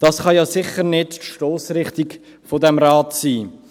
» Das kann ja sicher nicht die Stossrichtung dieses Rates sein.